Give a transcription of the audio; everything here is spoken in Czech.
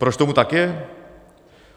Proč tomu tak je?